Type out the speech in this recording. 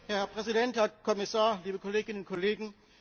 Herr Präsident, Herr Kommissar, liebe Kolleginnen und Kollegen!